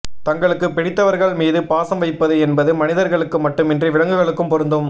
தங்களுக்கு பிடித்தவர்கள் மீது பாசம் வைப்பது என்பது மனிதர்களுக்கு மட்டுமின்றி விலங்குகளுக்கும் பொருந்தும்